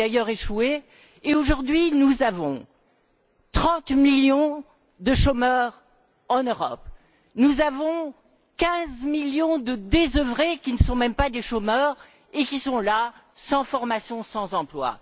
Elle a d'ailleurs échoué et, aujourd'hui, nous avons 30 millions de chômeurs en Europe. Nous avons 15 millions de désœuvrés qui ne sont même pas des chômeurs et qui sont là, sans formation, sans emploi.